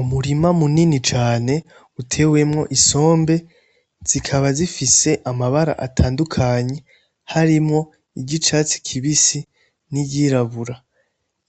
Umurima munini cane utewemwo isombe zikaba zifise amabara atandukanye harimwo iryicatsi kibisi n'iryirabura